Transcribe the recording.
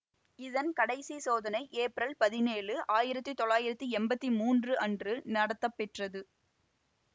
இதன் கடைசி சோதனை ஏப்ரல் பதினேழு ஆயிரத்தி தொள்ளாயிரத்தி எம்பத்தி மூன்று அன்று நடத்தப்பெற்றது